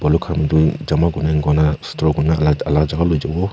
manu khan bhi jama kuri kona store kuri ke na alag jaga bhejhi bo.